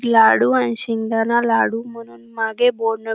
लाडू आणि शेगदाना लाडू म्हणून मागे बौर्न --